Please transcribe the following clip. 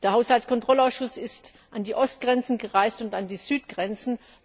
Der Haushaltskontrollausschuss ist an die Ostgrenzen gereist und an die Südgrenzen.